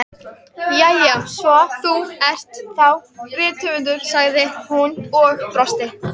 Jæja, svo þú ert þá rithöfundur, sagði hún og brosti.